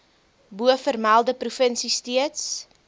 bovermelde provinsie steeds